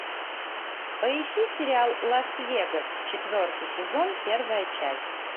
поищи сериал лас вегас четвертый сезон первая часть